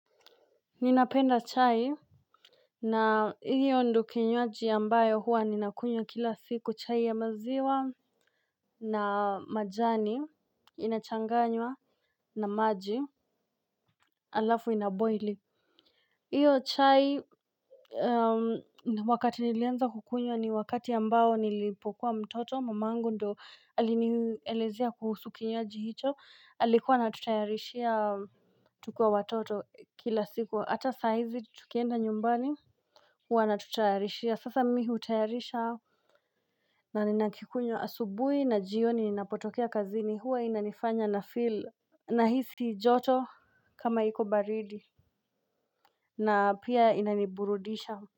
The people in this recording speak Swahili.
Ninapenda chai. Na hiyo ndio kinywaji ambayo huwa ninakunywa kila siku chai ya maziwa. Na majani inachanganywa na maji. Alafu inaboili. Hiyo chai wakati nilianza kukunywa ni wakati ambao nilipokuwa mtoto mamangu ndiye aliniyelezea kuhusu kinywaji hicho alikuwa na tutayarishia tukiwa watoto kila siku hata sahizi tukienda nyumbani. Wanatutayarishia sasa mimi hutayarisha. Na ninakikunywa asubuhi na jioni ninapotokea kazini huwa inanifanya na feel. Nahisi joto kama iko baridi. Na pia inaniburudisha.